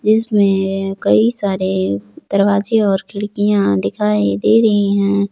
इसमें कई सारे दरवाजे और खिड़कियां दिखाई दे रही हैं।